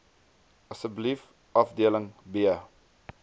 asseblief afdeling b